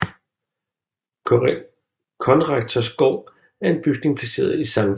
Konrektors Gård er en bygning placeret i Sct